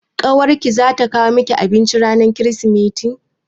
Ƙawar ki za ta kawo miki abinci ranar Kirsimeti?